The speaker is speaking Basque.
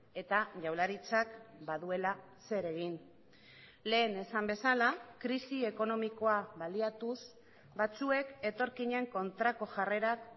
eta jaurlaritzak baduela zer egin lehen esan bezala krisi ekonomikoa baliatuz batzuek etorkinen kontrako jarrerak